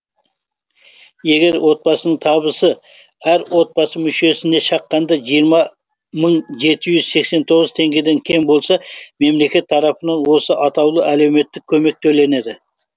егер отбасының табысы әр отбасы мүшесіне шаққанда жиырма мың жеті жүз сексен тоғыз теңгеден кем болса мемлекет тарапынан осы атаулы әлеуметтік көмек төленеді